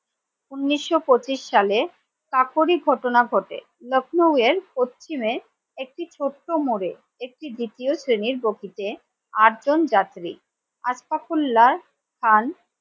উনিশশো পঁচিশ সালে কাকুরই ঘটনা ঘটে লখনৌ এর পশ্চিমে একটি ছোট্ট মোড়ে একটি দ্বিতীয় শ্রেণীর বগিতে আট জন যাত্রী আসফাকউল্লা খান ।